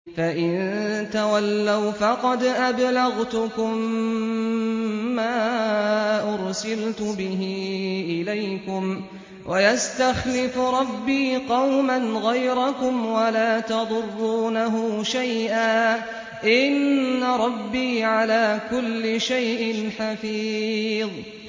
فَإِن تَوَلَّوْا فَقَدْ أَبْلَغْتُكُم مَّا أُرْسِلْتُ بِهِ إِلَيْكُمْ ۚ وَيَسْتَخْلِفُ رَبِّي قَوْمًا غَيْرَكُمْ وَلَا تَضُرُّونَهُ شَيْئًا ۚ إِنَّ رَبِّي عَلَىٰ كُلِّ شَيْءٍ حَفِيظٌ